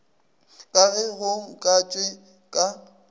ka ge go akantšwe ka